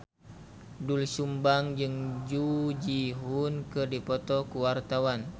Doel Sumbang jeung Jung Ji Hoon keur dipoto ku wartawan